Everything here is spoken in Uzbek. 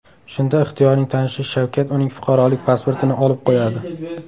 Shunda Ixtiyorning tanishi Shavkat uning fuqarolik pasportini olib qo‘yadi.